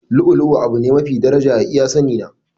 Lu'u lu'u abu ne mafi daraja a iya sani na.